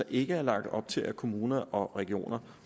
ikke er lagt op til at kommuner og regioner